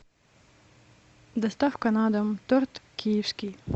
доставка на дом торт киевский